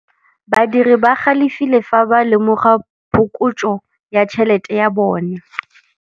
Badiri ba galefile fa ba lemoga phokotsô ya tšhelête ya bone.